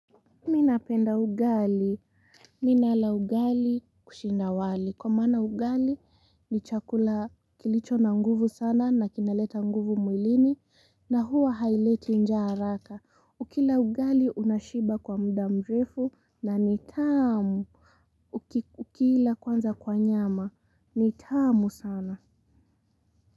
Mi napenda ugali. Mi nala ugali kushinda wali. Kwa maana ugali ni chakula kilicho na nguvu sana na kinaleta nguvu mwilini na huwa haileti njaa haraka. Ukila ugali unashiba kwa muda mrefu na ni tamu. Ukila kwanza kwa nyama. Nitamu sana.